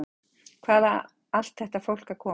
Hvaðan á allt þetta fólk að koma?